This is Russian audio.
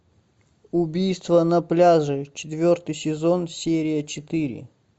убийство на пляже четвертый сезон серия четыре